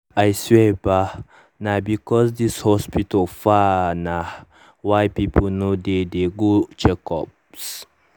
i swear bah nah because this hospital far nah why people no dey dey go checkups